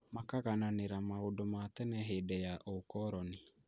Makagananira maũndũ ma tene hĩndĩya ũũkoroni